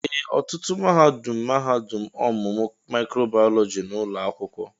ee, ọtụtụ mahadum mahadum ọmụmụ mịkròbàyọlọjí n'ụlọ akwụkwọ